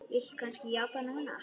Viltu kannski játa núna?